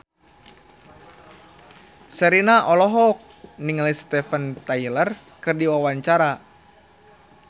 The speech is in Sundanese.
Sherina olohok ningali Steven Tyler keur diwawancara